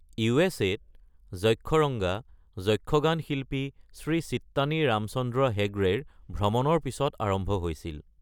ইউ.এছ.এ-ত যক্ষৰঙ্গা যক্ষগান শিল্পী শ্ৰী চিত্ৰানী ৰামচন্দ্ৰ হেগড়েৰ ভ্ৰমণৰ পিছত আৰম্ভ হৈছিল।